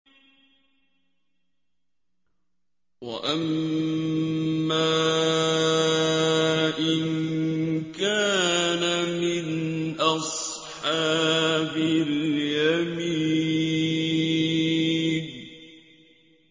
وَأَمَّا إِن كَانَ مِنْ أَصْحَابِ الْيَمِينِ